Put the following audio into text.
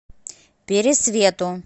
пересвету